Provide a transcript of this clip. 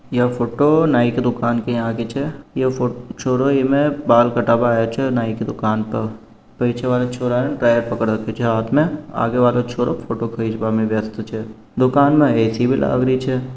यह फोटो नाइ की दूकान के यहाँ की छे यह छोरो इमे बाल कटाबे आयो छे नाई की दूकान पे पीछे वाले छोरे ने ड्रायर पकड़ राखो छे हाथ में आगे वालो छोरो फोटो खिच्बे में व्यस्त छे दूकान में ए_सी लागरी छे।